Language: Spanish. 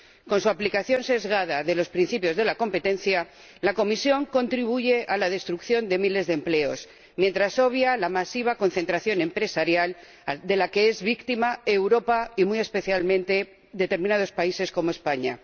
Con su aplicación sesgada de los principios de la competencia, la Comisión contribuye a la destrucción de miles de empleos, mientras obvia la masiva concentración empresarial de la que es víctima Europa y, muy especialmente, determinados países, como España.